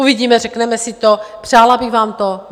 Uvidíme, řekneme si to, přála bych vám to.